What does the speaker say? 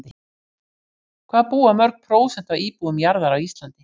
Hvað búa mörg prósent af íbúum jarðar á Íslandi?